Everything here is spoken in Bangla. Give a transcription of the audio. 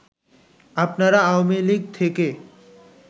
আপনারা আওয়ামী লীগ থেকে